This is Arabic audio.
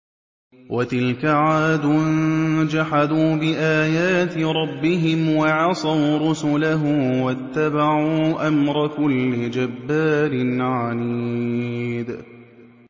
وَتِلْكَ عَادٌ ۖ جَحَدُوا بِآيَاتِ رَبِّهِمْ وَعَصَوْا رُسُلَهُ وَاتَّبَعُوا أَمْرَ كُلِّ جَبَّارٍ عَنِيدٍ